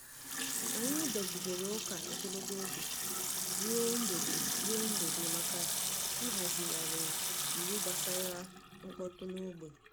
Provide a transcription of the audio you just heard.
Anyị dọgidere ụka ogologo oge ruo mgbede ruo mgbede maka ịhazigharị iwu gbasara mkpọtụ n’ógbè.